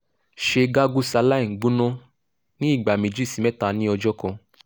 ṣe gargle saline gbona ni igba meji si mẹta ni ọjọ kan